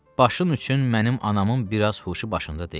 Başın üçün mənim anamın biraz huşu başında deyil.